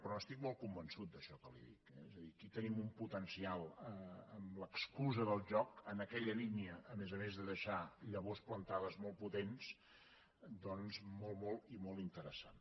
però n’estic molt convençut d’això que li dic eh és a dir aquí tenim un poten cial amb l’excusa del joc en aquella línia a més a més de deixar llavors plantades molt potents molt molt i molt interessant